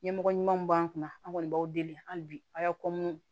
Ɲɛmɔgɔ ɲumanw b'an kunna an kɔni b'aw deli hali bi a y'a